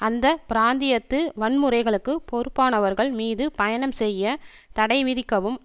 அந்த பிராந்தியத்து வன்முறைகளுக்கு பொறுப்பானவர்கள் மீது பயணம் செய்ய தடைவிதிக்கவும்